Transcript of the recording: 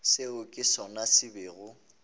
seo ke sona se bego